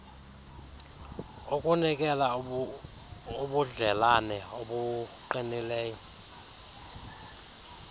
ukunikela ubudlelane obuqinileyo